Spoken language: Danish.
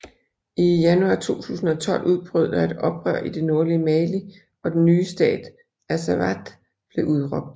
I januar 2012 udbrød der et oprør i det nordlige Mali og den nye stat Azawad blev udråbt